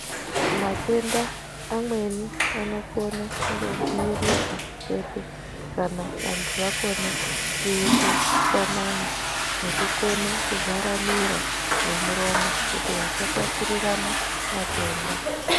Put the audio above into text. Matenda amweni anokone kungodzivirirwa chete kana vantu vakone kuyite utsanana nekukone kuvhara miro nemuromo kuti vasatapurirana matenda.